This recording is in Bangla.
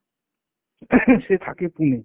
Coughing সে থাকে Pune।